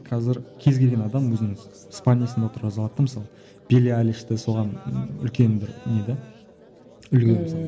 қазір кез келген адам өзінің отырғызып алады да мысалы соған үлкен бір не де үлгі мысалы